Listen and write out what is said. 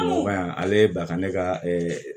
Wa yan ale ye baka ne ka